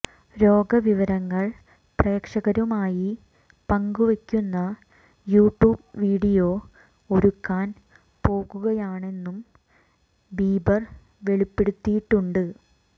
രോഗവിവരങ്ങൾ പ്രേക്ഷകരുമായി പങ്കുവയ്ക്കുന്ന YouTube video ഒരുക്കാൻ പോകുകയാണെന്നും ബീബർ വെളിപ്പെടുത്തിയിട്ടുണ്ട്